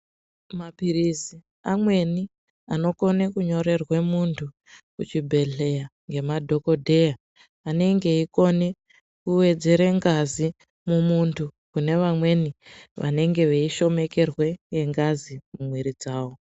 Maphirizi amweni anokone kunyorerwe muntu kuchibhedhleya ngemadhokodheya anenge eyikone kuwedzere ngazi mumuntu kune vamweni vanenge veyishomekerwe ngengazi mumwiri dzavo.